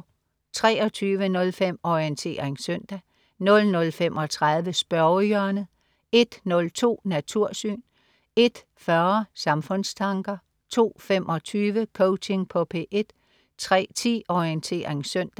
23.05 Orientering søndag* 00.35 Spørgehjørnet* 01.02 Natursyn* 01.40 Samfundstanker* 02.25 Coaching på P1* 03.10 Orientering søndag*